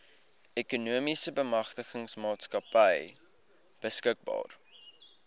ekonomiese bemagtigingsmaatskappy beskikbaar